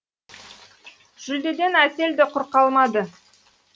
жүлдеден әсел де құр қалмады